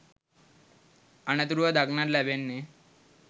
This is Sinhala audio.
අනතුරුව දක්නට ලැබෙන්නේ